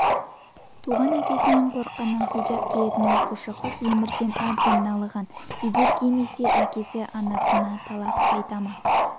туған әкесінен қорыққанынан хиджап киетін оқушы қыз өмірден әбден налыған егер кимесе әкесі анасына талақ айтама